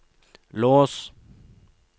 lås